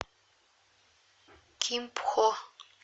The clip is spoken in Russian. кимпхо